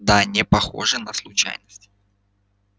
да непохоже на случайность